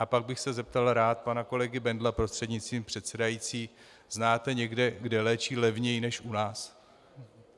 A pak bych se zeptal rád pana kolegy Bendla prostřednictvím předsedající: Znáte někde, kde léčí levněji než u nás?